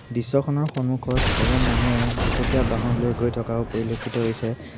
দৃশ্যখনৰ সন্মুখত এজন মানুহে দুচকীয়া বাহন লৈ গৈ থকাও পৰিলক্ষিত হৈছে।